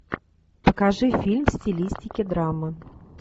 покажи фильм в стилистике драмы